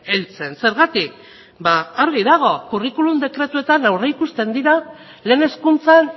heltzen zergatik argi dago curriculum dekretuetan aurreikusten dira lehen hezkuntzan